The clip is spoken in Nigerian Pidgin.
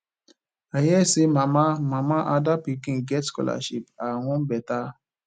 i hear say mama mama ada pikin get scholarship her own beta